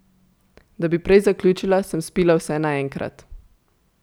Da bi prej zaključila, sem spila vse naenkrat.